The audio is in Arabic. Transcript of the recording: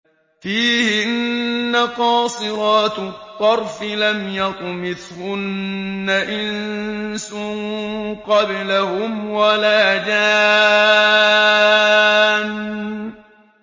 فِيهِنَّ قَاصِرَاتُ الطَّرْفِ لَمْ يَطْمِثْهُنَّ إِنسٌ قَبْلَهُمْ وَلَا جَانٌّ